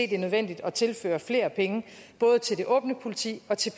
det er nødvendigt at tilføre flere penge både til det åbne politi og til